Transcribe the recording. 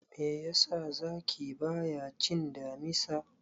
Me yasa zaki bayacin damisa?